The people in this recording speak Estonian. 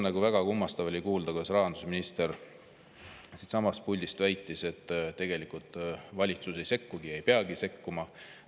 Väga kummastav oli kuulda, kuidas rahandusminister siitsamast puldist väitis, et tegelikult valitsus ei sekku ja ei peagi sekkuma.